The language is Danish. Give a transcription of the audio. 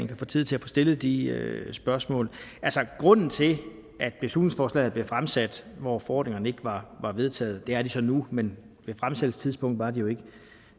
kan få tid til at få stillet de spørgsmål grunden til at beslutningsforslaget er fremsat hvor forordningerne ikke var vedtaget det er de så nu men ved fremsættelsestidspunktet var de